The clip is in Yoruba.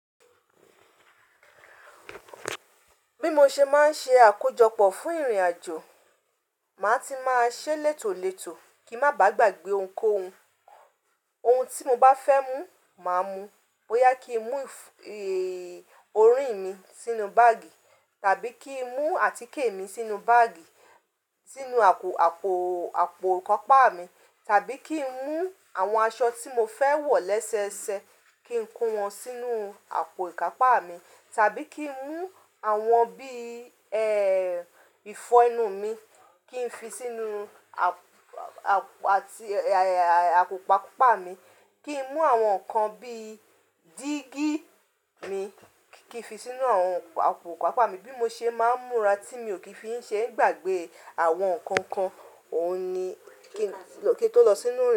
Bí mo ṣe máa ń ṣe àkójọpọ̀ fún ìrìnàjò, màá ti máa ṣe létòletò kí ń má bá gbàgbé ohunkóhun. Ohun tí mo bá fẹ́ mú, màá mú. Bo ya kí n mú, ẹ, orí mi sínú báàgì tàbí kí n mú àtíkè mi sínú báàgì sínú àpò, àpò, àpò ìkápá mi, tàbí kí n mú àwọn aṣọ tí mo fẹ́ wọ̀ lẹ́sẹẹsẹ, kí n kó wọn sínú àpò ìkápá mi, tàbí kí n mú àwọn bí, ẹ, ìfọnu mi kí n fi sínú àpò àti àpò ìkápá mi, kí n mú àwọn nǹkan bí dígí mi kí n fi sínú àwọn àpò ìkápá mi. Bí mo ṣe máa ń múra tí mi ò kí ń fi ṣe ń gbàgbé àwọn nǹkan kan, òun ni kíi, kí i tó lọ sínú.